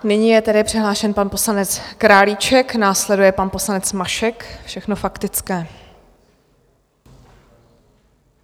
Nyní je tedy přihlášen pan poslanec Králíček, následuje pan poslanec Mašek, všechno faktické.